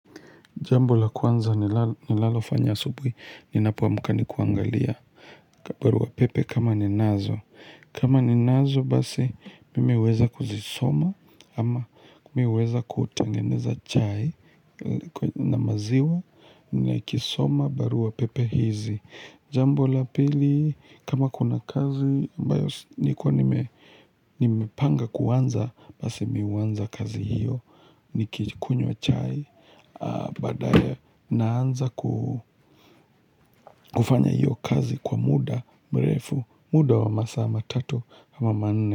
Jambo la kwanza nilal nilalo fanya asubuhi, ninapoamka ni kuangalia barua pepe kama ninazo. Kama ninazo basi mimi heweza kuzisoma ama mihuweza kutengeneza chai na maziwa nikisoma barua pepe hizi. Jambo la pili kama kuna kazi ambayo si nikuwa nime nimpanga kuanza, basi mihuanza kazi hiyo, nikikunywa chai a Badaya naanza ku kufanya hiyo kazi kwa muda, mrefu, muda wa masaa matatu ama manne.